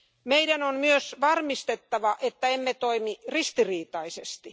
Meidän on myös varmistettava, että emme toimi ristiriitaisesti.